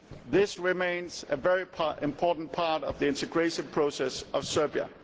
This remains a very important part of the integration process of Serbia.